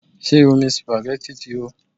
Ṣé omi supagẹ́tì ti hó?